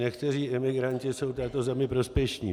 Někteří imigranti jsou této zemi prospěšní.